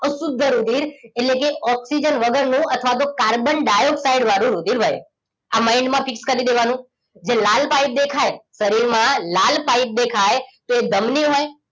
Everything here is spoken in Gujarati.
અશુદ્ધ રુધિર એટલેકે ઓક્સિજન વગરનું અથવા તો કાર્બન ડાઇઓક્સાઇડ વાળું રુધિર વહે મઇન્ડ માં ફિક્સ કરી દેવાનું જે લાલ પાઇપ દેખાય શરીર માં લાલ પાઇપ દેખાય તો એ ધમની હોય